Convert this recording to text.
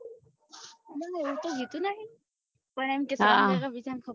ના ના એવું કઈ કીધું નહિ પણ એમ કે